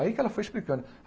Aí que ela foi explicando.